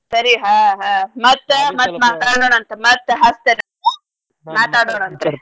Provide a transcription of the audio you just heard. ಸರಿ ಹಾ ಹಾ ಮತ್ತ ಮತ್ ಮಾತಾಡೋಣ್ ಅಂತ ಮತ್ತ ಹಚ್ತೇನ್ ಅಂತ ಮಾತಾಡೋನ್ ಅಂತ್ರೀ.